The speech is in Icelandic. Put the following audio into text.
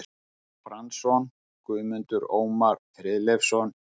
Franzson, Guðmundur Ómar Friðleifsson, Jens